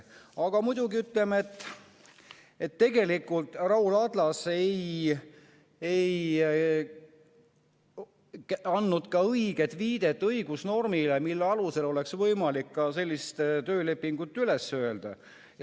Aga muidugi, tegelikult Raul Adlas ei andnud õiget viidet õigusnormile, mille alusel oleks võimalik sellist töölepingut üles öelda.